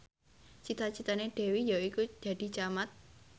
cita citane Dewi yaiku dadi camat